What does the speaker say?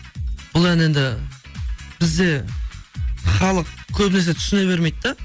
бұл ән енді бізде халық көбінесе түсіне бермейді да